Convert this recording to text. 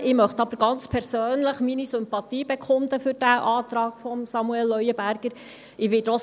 Ich möchte aber ganz persönlich meine Sympathie für diesen Antrag von Samuel Leuenberger bekunden.